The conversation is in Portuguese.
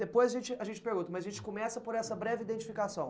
Depois a gente a gente pergunta, mas a gente começa por essa breve identificação.